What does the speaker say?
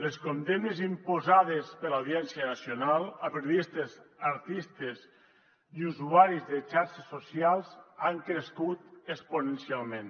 les condemnes imposades per l’audiència nacional a periodistes artistes i usuaris de xarxes socials han crescut exponencialment